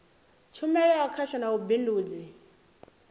tshumelo ya khasho ya vhubindudzi